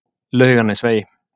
Laugarnesvegi